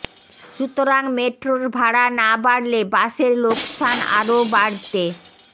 সুতরাং মেট্রোর ভাড়া না বাড়লে বাসের লোকসান আরও বাড়তে